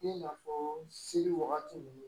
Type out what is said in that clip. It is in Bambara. I n'a fɔ seli wagati ninnu